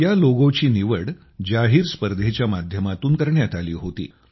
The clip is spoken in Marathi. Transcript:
या लोगोची निवड जाहीर स्पर्धेच्या माध्यमातून करण्यात आली होती